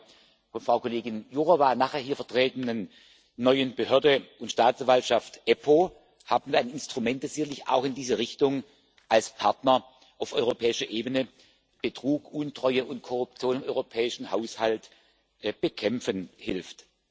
Mit der von Frau Kollegin Jourová nachher hier vertretenen neuen Behörde und Staatsanwaltschaft, der EUStA, haben wir ein Instrument, des sicherlich auch in diese Richtung als Partner auf europäischer Ebene Betrug, Untreue und Korruption im europäischen Haushalt bekämpfen hilft.